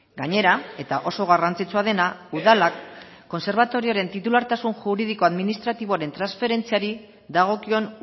gainera eta oso garrantzitsua dena udalak kontserbatorioaren titulartasun juridiko administratiboaren transferentziari dagokion